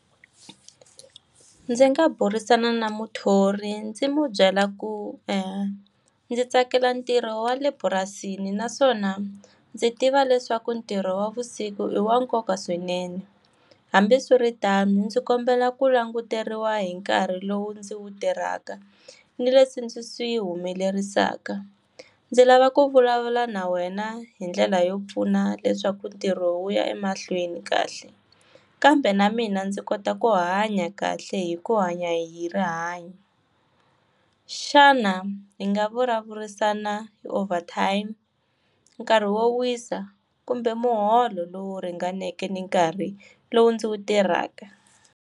Ndzi nga burisana na muthori ndzi mu byela ku ndzi tsakela ntirho wa le purasini naswona ndzi tiva leswaku ntirho wa vusiku i wa nkoka swinene. Hambiswiritano ndzi kombela ku languteriwa hi nkarhi lowu ndzi wu tirhaka, ni leswi ndzi swi humelerisaka. Ndzi lava ku vulavula na wena hi ndlela yo pfuna leswaku ntirho wu ya emahlweni kahle. Kambe na mina ndzi kota ku hanya kahle hi ku hanya hi rihanyo. Xana hi nga vulavurisana hi overtime? Nkarhi wo wisa? kumbe muholo lowu ringaneke ni nkarhi lowu ndzi wu tirhaka?